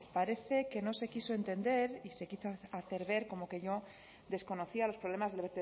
parece que no se quiso entender y se quiso hacer ver como que yo desconocía los problemas del